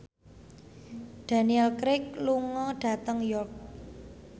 Daniel Craig lunga dhateng York